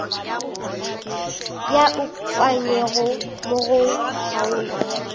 di ukangwego mo go kgaolo